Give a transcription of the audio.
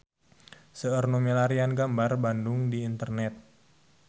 Seueur nu milarian gambar Bandung di internet